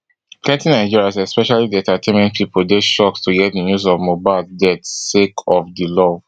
plenti nigerians especially di entertainment pipo deyshocked to hear di news of mohbad deathsake of di love